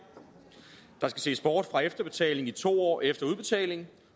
der skal ses bort fra efterbetalingen i to år efter udbetalingen